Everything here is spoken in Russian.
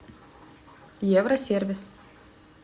евро сервис